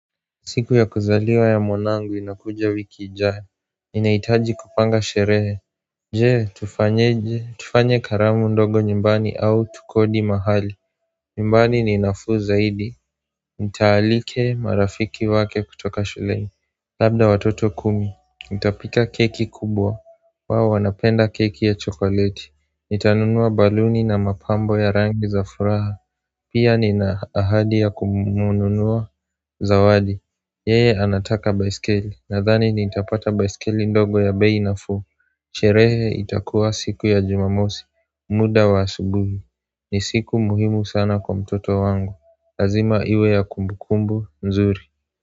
Siku ya kuzaliwa ya mwanangu inakuja wiki ijayo nInaitaji kupanga sherehe Je tufanye je tufanye karamu ndogo nyumbani au tukodi mahali nyumbani ninafuu zaidi Nitaalike marafiki wake kutoka shule Labda watoto kumi Nita pika keki kubwa wao wana penda keki ya chokoleti Nitanunua baluni na mapambo ya rangi za furaha Pia nina ahadi ya kumununua za wadi Yeye anataka baisikeli na thani ni itapata baisikeli ndogo ya bei na fuu sherehe itakuwa siku ya jumamosi muda wa asubuhi ni siku muhimu sana kwa mtoto wangu Lazima iwe ya kumbukumbu nzuri.